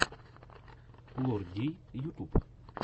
лор дий ютуб